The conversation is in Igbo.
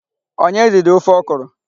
Onye riri ofe ọkrọ?